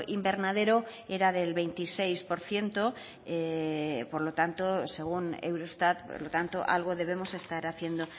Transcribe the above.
invernadero era del veintiséis por ciento por lo tanto según eurostat por lo tanto algo debemos estar haciendo